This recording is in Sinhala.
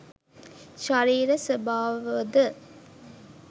ශරීර ස්වභාවද